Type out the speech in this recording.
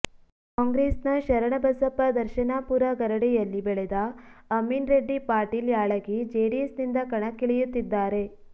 ಕಾಂಗ್ರೆಸ್ ನ ಶರಣಬಸಪ್ಪ ದರ್ಶನಾಪೂರ ಗರಡಿಯಲ್ಲಿ ಬೆಳೆದ ಅಮೀನ್ ರೆಡ್ಡಿ ಪಾಟೀಲ ಯಾಳಗಿ ಜೆಡಿಎಸ್ ನಿಂದ ಕಣಕ್ಕಿಳಿಯುತ್ತಿದ್ದಾರೆ